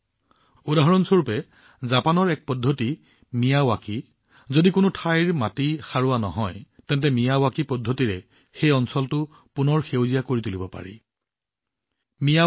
ইয়াৰ উদাহৰণ হলজাপানৰ কৌশল মিয়াৱাকি যদি কোনো ঠাইৰ মাটি সাৰুৱা হোৱা নাই তেন্তে মিয়াৱাকি কৌশল সেই অঞ্চলটো পুনৰ সেউজীয়া কৰি তোলাৰ এক অতি উত্তম উপায়